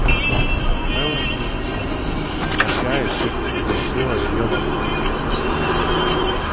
мелани же прощаясь чуть не задушила её в объятиях